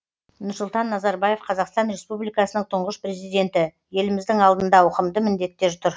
нұрсұлтан назарбаев қазақстан республикасының тұңғыш президенті еліміздің алдында ауқымды міндеттер тұр